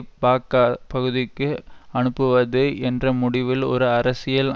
பாக்க பகுதிக்கு அனுப்புவது என்ற முடிவில் ஒரு அரசியல்